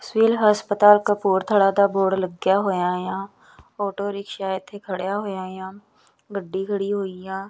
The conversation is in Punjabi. ਸਿਵਲ ਹਸਪਤਾਲ ਕਪੂਰਥਲਾ ਦਾ ਬੋਰਡ ਲੱਗਿਆ ਹੋਇਆ ਆ ਆਟੋ ਰਿਕਸ਼ਾ ਇੱਥੇ ਖੜਿਆ ਹੋਇਆ ਆ ਗੱਡੀ ਖੜੀ ਹੋਈ ਆ।